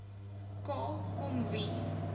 k kom wie